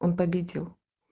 он победил